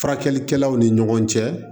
Furakɛlikɛlaw ni ɲɔgɔn cɛ